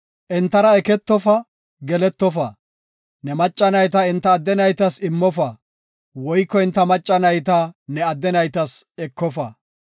Entara eketofa; geletofa. Ne macca nayta enta adde naytas immofa woyko enta macca nayta ne adde naytas ekofa.